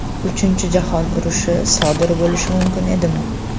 Uchinchi jahon urushi sodir bo‘lishi mumkin edimi?